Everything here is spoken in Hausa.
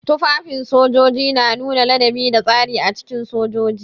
Tufafin sojoji na nuna ladabi da tsari a cikin sojoji.